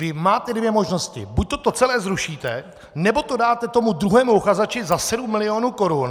Vy máte dvě možnosti - buďto to celé zrušíte, nebo to dáte tomu druhému uchazeči za 7 milionů korun.